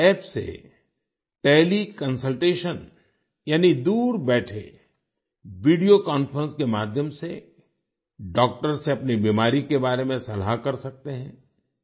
इस App से teleconsultation यानी दूर बैठे वीडियो कॉन्फ्रेंस के माध्यम से डॉक्टर से अपनी बीमारी के बारे में सलाह कर सकते हैं